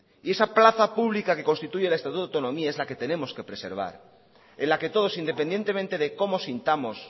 y esa plaza pública que constituye el estatuto de autonomía es la que tenemos que preservar en la que todos independientemente de cómo sintamos